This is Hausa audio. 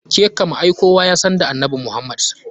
Ke kam ai kowa yasan da annabi Muhammda.